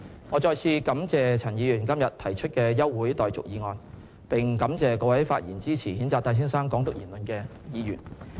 我再次感謝陳議員今天提出的休會待續議案，並感謝各位發言支持譴責戴先生"港獨"言論的議員。